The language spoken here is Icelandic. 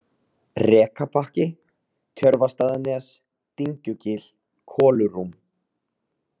Rekabakki, Tjörvastaðanes, Dyngjugil, Kolurúm